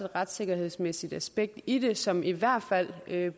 retssikkerhedsmæssigt aspekt i det som der i hvert fald bliver